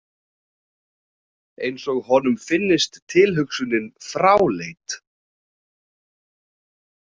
Eins og honum finnist tilhugsunin fráleit.